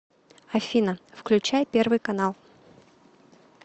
афина включай первый канал